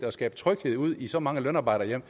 at skabe tryghed ude i så mange lønarbejderhjem